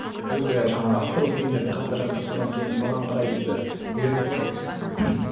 өзі жаңағы авторлық фильмдерді қатты жақсы көрді содан кейін соған қарай бізді үйретті ғой ммм